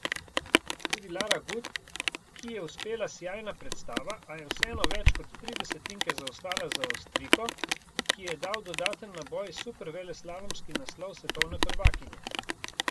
Tudi Lara Gut, ki ji je uspela sijajna predstava, a je vseeno več kot tri desetinke zaostala za Avstrijko, ki ji je dal dodaten naboj superveleslalomski naslov svetovne prvakinje.